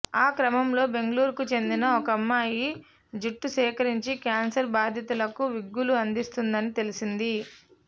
ఆ క్రమంలో బెంగళూరుకు చెందిన ఒకమ్మాయి జుట్టు సేకరించి క్యాన్సర్ బాధితులకు విగ్గులు అందిస్తోందని తెలిసింది